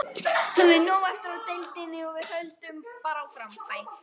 Það er nóg eftir í deildinni og við höldum bara áfram.